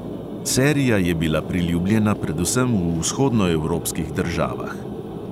Serija je bila priljubljena predvsem v vzhodnoevropskih državah.